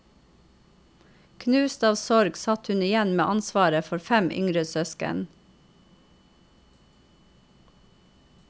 Knust av sorg satt hun igjen med ansvaret for fem yngre søsken.